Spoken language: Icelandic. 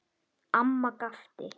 Amma gapti.